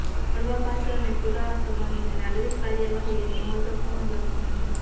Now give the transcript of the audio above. મળવાપાત્ર અને પુરાવા સંબંધને નાગરિક કાર્યવાહી એક મહત્વપૂર્ણ લક્ષણ છે